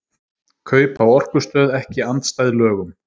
Kaup á orkustöð ekki andstæð lögum